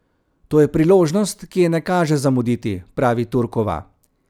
To je priložnost, ki je ne kaže zamuditi, pravi Turkova.